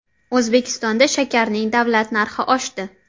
O‘zbekistonda shakarning davlat narxi oshdi.